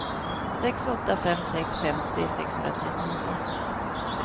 sex åtta fem sex femtio sexhundratrettionio